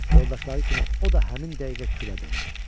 Yoldaşları kimi o da həmin dəqiqə külə döndü.